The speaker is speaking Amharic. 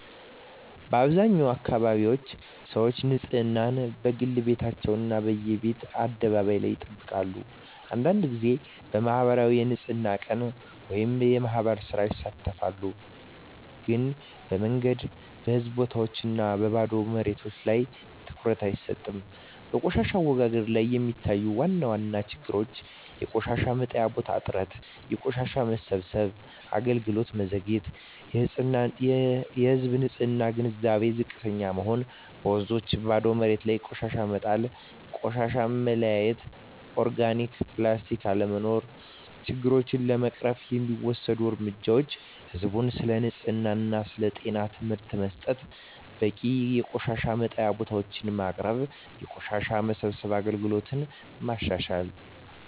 በአብዛኛው አካባቢዎች ሰዎች ንፅህናን፦ በግል ቤታቸው እና በየቤት አደባባይ ላይ ይጠብቃሉ አንዳንድ ጊዜ በማኅበራዊ የንፅህና ቀን (የማህበር ሥራ) ይሳተፋሉ ግን በመንገድ፣ በህዝብ ቦታዎች እና በባዶ መሬቶች ላይ ትኩረት አይሰጥም በቆሻሻ አወጋገድ ላይ የሚታዩ ዋና ችግሮች የቆሻሻ መጣያ ቦታዎች እጥረት የቆሻሻ መሰብሰብ አገልግሎት መዘግየት የህዝብ ንፅህና ግንዛቤ ዝቅተኛ መሆን በወንዞችና ባዶ መሬቶች ላይ ቆሻሻ መጣል ቆሻሻ መለያየት (ኦርጋኒክ/ፕላስቲክ) አለመኖር ችግሮቹን ለመቅረፍ የሚወሰዱ እርምጃዎች ህዝብን ስለ ንፅህና እና ጤና ትምህርት መስጠት በቂ የቆሻሻ መጣያ ቦታዎች ማቅረብ የቆሻሻ መሰብሰብ አገልግሎትን ማሻሻል